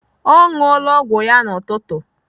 Ọ ṅụọla ọgwụ ya n'ụtụtụ.